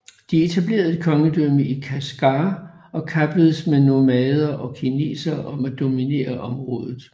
De etablerede et kongedømme i Kashgar og kappedes med nomader og kinesere om at dominere området